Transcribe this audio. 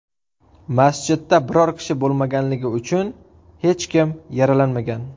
Masjidda biror kishi bo‘lmaganligi uchun hech kim yaralanmagan.